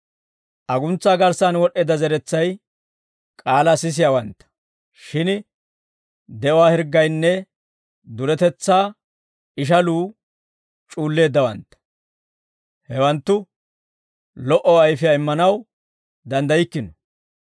Aguntsaa garssan wod'd'eedda zeretsay, k'aalaa sisiyaawantta; shin de'uwaa hirggaynne duretetsaa ishaluu c'uulleeddawantta. Hewanttu lo"o ayfiyaa immanaw danddaykkino.